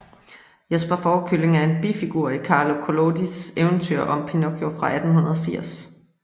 Jesper Fårekylling er en bifigur i Carlo Collodis eventyr om Pinocchio fra 1880